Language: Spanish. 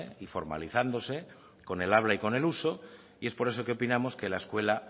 y formalizándose con el habla y con el uso y es por eso que opinamos que la escuela